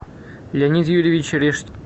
леонид юрьевич